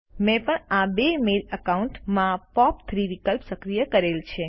મેં પણ આ બે મેલ એકાઉન્ટ્સ માં પોપ3 વિકલ્પ સક્રિય કરેલ છે